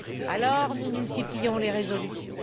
Alors, nous multiplions les résolutions.